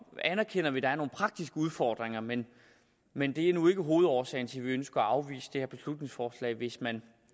anerkender at der er nogle praktiske udfordringer men men det er nu ikke hovedårsagen til at vi ønsker at afvise det her beslutningsforslag hvis man